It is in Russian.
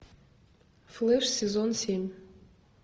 флэш сезон семь